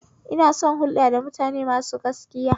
Ina son hulɗa da mutane masu gaskiya